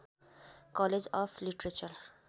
college of literature